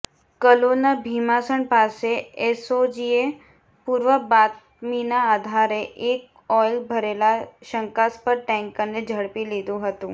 કલોલના ભીમાસણ પાસે એસઓજીએ પુર્વ બાતમીના આઘારે એક ઓઇલ ભરેલા શંકાસ્પદ ટેન્કરને ઝડપી લીધુ હતું